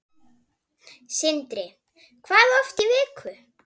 Sindri: Hvað oft í viku?